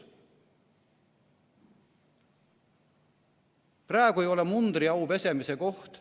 Praegu ei ole mundriau pesemise koht.